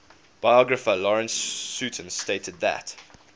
biographer lawrence sutin stated that